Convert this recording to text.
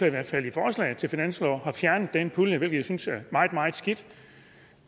i hvert fald i forslaget til finanslov har fjernet den pulje hvilket jeg synes er meget meget skidt